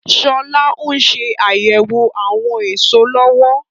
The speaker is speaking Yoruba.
Sọlá ń ṣe àyẹ̀wọ̀ àwọn èso lọ́wọ́.